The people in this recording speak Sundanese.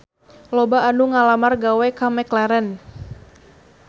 Loba anu ngalamar gawe ka McLarren